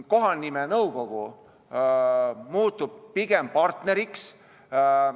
Kohanimenõukogu muutub pigem partneriks.